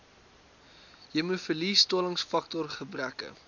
hemofilie stollingsfaktor gebreke